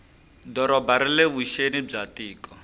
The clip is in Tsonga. doroba rile vuxeni bya tiko